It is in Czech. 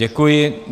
Děkuji.